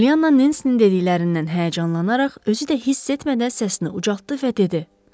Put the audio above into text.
Pollyanna Nensinin dediklərindən həyəcanlanaraq özü də hiss etmədən səsini ucaltdı və dedi: